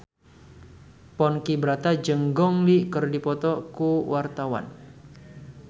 Ponky Brata jeung Gong Li keur dipoto ku wartawan